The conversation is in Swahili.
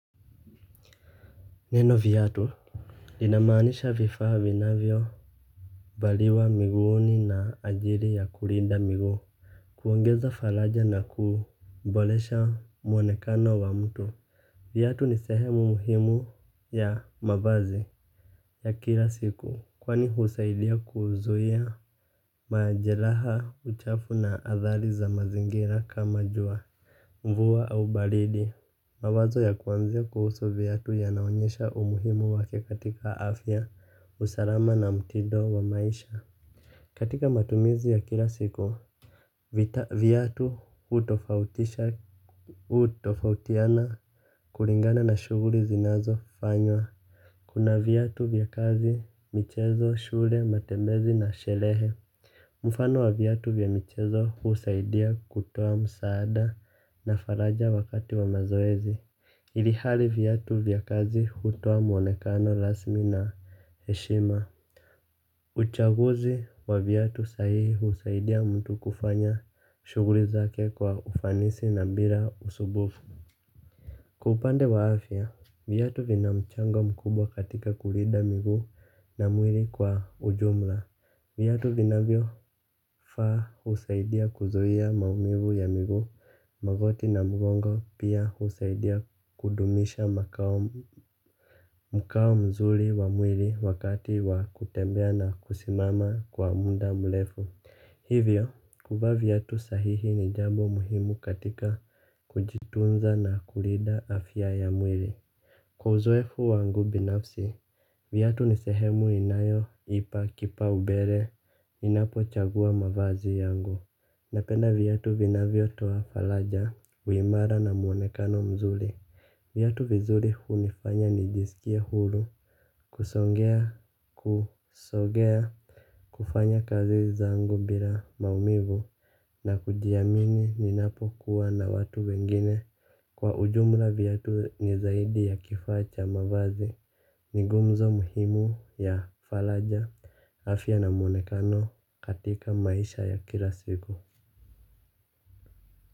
Neno viatu. Inamanisha vifaa vinavyo valiwa miguuni na ajili ya kulinda miguu. Kuongeza falaja na kubolesha mwonekano wa mtu. Vyatu nisehemu muhimu ya mavazi ya kila siku kwani husaidia kuzuhia majeraha uchafu na athali za mazingira kama jua mvua au balidi. Mawazo ya kuanzia kuhusu viatu yanaonyesha umuhimu wake katika afya, usalama na mtindo wa maisha. Katika matumizi ya kila siku, viatu utofautiana kulingana na shuguli zinazo fanywa. Kuna viatu vya kazi, michezo, shule, matembezi na shelehe. Mfano wa viatu vya michezo husaidia kutoa msaada na faraja wakati wa mazoezi. Ilihali viatu vya kazi hutoa mwonekano lasmi na heshima. Uchaguzi wa viatu sahihi husaidia mtu kufanya shuguli zake kwa ufanisi na mbira usubufu. Kwa upande wa afya, vyatu vinamchango mkubwa katika kulida miguu na mwiri kwa ujumla. Vyatu vinavyo faa usaidia kuzuhia maumivu ya miguu magoti na mugongo pia usaidia kudumisha mkao mzuri wa mwili wakati wa kutembea na kusimama kwa munda mlefu. Hivyo, kuvaa viatu sahihi ni jambo muhimu katika kujitunza na kulida afya ya mwili. Kwa uzoefu wangu binafsi, viatu nisehemu inayo, ipa, kipa, ubele, ninapo chagua mavazi yangu. Napenda viatu vinavyo toa falaja, uimara na muonekano mzuri. Viatu vizuri hunifanya nijisikie hulu, kusongea, kusogea, kufanya kazi zangu bila maumivu na kujiamini ninapo kuwa na watu wengine. Kwa ujumla viatu ni zaidi ya kifaa cha mavazi ni gumzo muhimu ya falaja afya na mwonekano katika maisha ya kila siku.